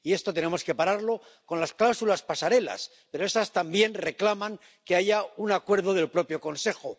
Y esto tenemos que pararlo con las cláusulas pasarela, pero estas también reclaman que haya un acuerdo del propio Consejo.